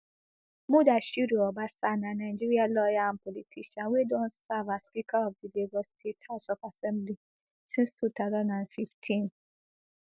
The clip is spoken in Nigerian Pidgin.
mudashiru obasa na nigerian lawyer and politician wey don serve as speaker of di lagos state house of assembly since two thousand and fifteen